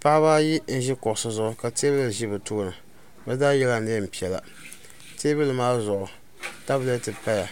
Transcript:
paɣ' baayi n ʒɛ kuɣisi zuɣ ka tɛbuya ʒɛ be tuuni be zaa yɛla nɛnpiɛlla tɛbuli maa zuɣ' tabilɛtɛ paya